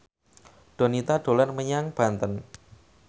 Donita dolan menyang Banten